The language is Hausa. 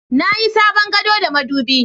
Na yi sabon gado da madubi